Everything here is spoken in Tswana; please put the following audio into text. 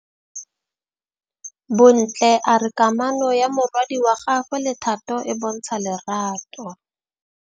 Bontle a re kamanô ya morwadi wa gagwe le Thato e bontsha lerato.